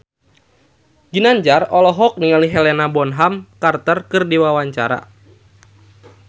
Ginanjar olohok ningali Helena Bonham Carter keur diwawancara